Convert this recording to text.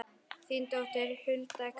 Þín dóttir, Hulda Karen.